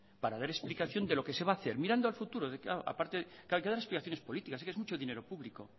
para dar explicación de lo que se va a hacer mirando al futuro claro aparte hay que dar explicaciones políticas es que es mucho dinero público